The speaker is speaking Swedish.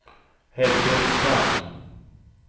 Helge Strand